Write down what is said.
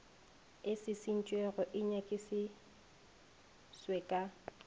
e šišintšwego di nyakišišitšwe ka